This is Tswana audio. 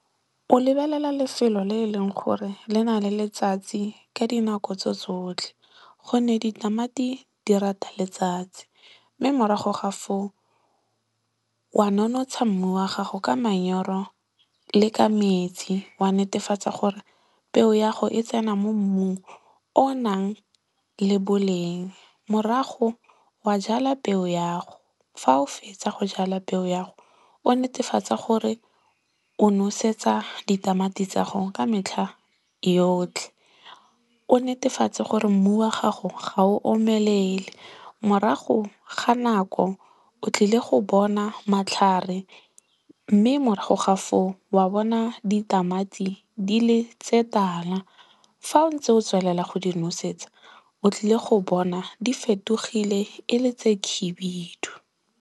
O lebelela lefelo le e leng gore le na le letsatsi ka dinako tso tsotlhe. Gonne ditamati di rata letsatsi. Mme morago ga foo, wa nonotsha mmu wa gago ka manyoro le ka metsi. Wa netefatsa gore peo ya 'go e tsena mo mmung o o nang le boleng. Morago, wa jala peo ya 'go. Fa o fetsa go jala peo ya 'go, o netefatse gore o nosetsa ditamati tsa 'go ka metlha yotlhe. O netefatse gore mmu wa gago ga o omelele. Morago ga nako, o tlile go bona matlhare mme morago ga foo wa bona ditamati di le tse tala. Fa o ntse o tswelela go di nosetsa, o tlile go bona di fetogile e le tse khibidu.